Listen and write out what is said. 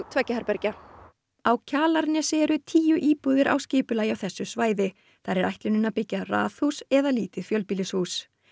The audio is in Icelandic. tveggja herbergja á Kjalarnesi eru tíu íbúðir á skipulagi á þessu svæði þar er ætlunin að byggja raðhús eða lítið fjölbýlishús